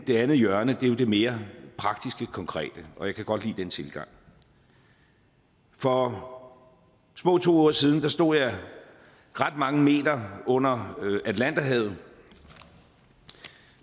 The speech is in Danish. det andet hjørne er jo det mere praktiske og konkrete og jeg kan godt lide den tilgang for små to uger siden stod jeg ret mange meter under atlanterhavet